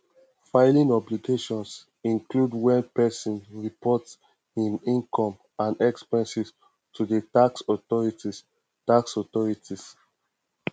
filing obligations include when person report im income and expenses to di tax authorities tax authorities